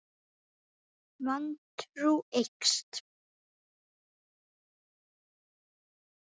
Vantrú eykst.